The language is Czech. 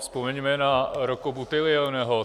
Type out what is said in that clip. Vzpomeňme na Rocco Buttiglioneho.